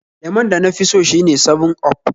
Lemon da nafi so shine 7up